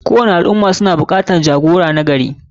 Kowani al ummah suna bukatan jagora nagari.